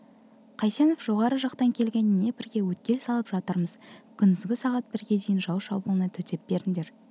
қайсенов жоғары жақтан келген днепрге өткел салып жатырмыз күндізгі сағат бірге дейін жау шабуылына төтеп беріңдер